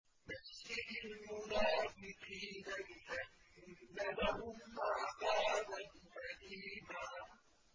بَشِّرِ الْمُنَافِقِينَ بِأَنَّ لَهُمْ عَذَابًا أَلِيمًا